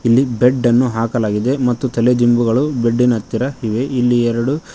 ಇಲ್ಲಿ ಬೆಡ್ ಅನ್ನು ಹಾಕಲಾಗಿದೆ ಮತ್ತು ತಲೆ ದಿಂಬುಗಳು ಬೆಡ್ ಇನ ಹತ್ತಿರ ಇವೆ ಇಲ್ಲಿ ಎರಡು--